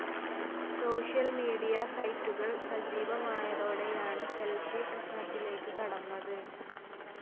Social media സൈറ്റുകൾ സജീവമായതോടെയാണ് selfie പ്രശ്നത്തിലേക്ക് കടന്നത്.